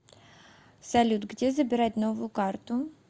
салют где забирать новую карту